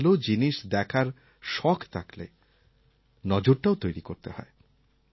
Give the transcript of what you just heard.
ভাল জিনিস দেখার শখ থাকলে নজরটাও তৈরি করতে হয়